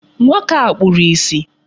Nwoke a kpuru ìsì.